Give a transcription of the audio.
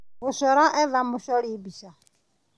Gũcora, etha mũcori mbica.